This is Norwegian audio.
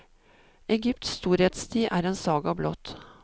Egypts storhetstid er en saga blott.